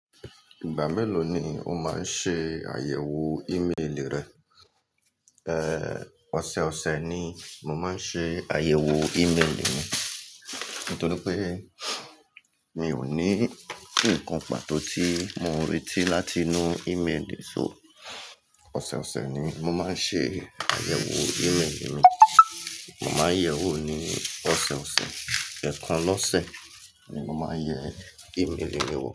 Ìgbà mélòó ni o máa ń ṣe àyẹ̀wò ímélì rẹ? Ẹ̀, ọ̀sẹ̀ ọ̀sẹ̀ ni mo máa ń ṣe àyẹ̀wò ímélì mi. Nítorí pé mi ò ní ǹkan pàtó tí mo ń retí láti nu ímélì, so ọ̀sẹ̀ ọ̀sẹ̀ ni mo máa ń ṣe àyẹ̀wò ímélì mi. Mo máa ń yẹ̀ wò ní ọ̀sẹ̀ ọ̀sẹ̀. Ẹkàn lọ́sẹ̀ ni mo máa ń yẹ ímélì mi wò.